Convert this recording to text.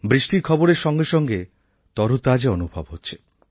বৃষ্টির খবরের সঙ্গে সঙ্গে তরতাজা অনুভব হচ্ছে